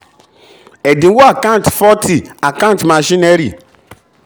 ẹ̀dínwó a/c 40 account machinery.